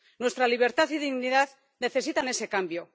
Nuestra libertad y dignidad necesitan ese cambio.